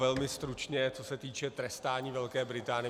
Velmi stručně co se týká trestání Velké Británie.